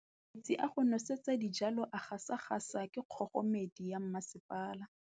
Metsi a go nosetsa dijalo a gasa gasa ke kgogomedi ya masepala.